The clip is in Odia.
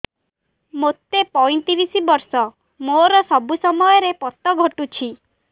ମୋତେ ପଇଂତିରିଶ ବର୍ଷ ମୋର ସବୁ ସମୟରେ ପତ ଘଟୁଛି